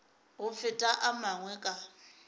go feta a mangwe ka